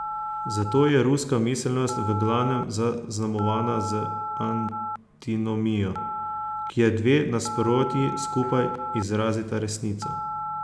Zato je ruska miselnost v glavnem zaznamovana z antinomijo, kjer dve nasprotji skupaj izrazita resnico.